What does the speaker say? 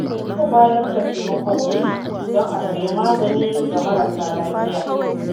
Za mu bayar da taimakon kuɗi don a sayi magani ga marasa lafiya.